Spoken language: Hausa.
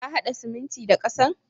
Ka haɗa siminti da ƙasan.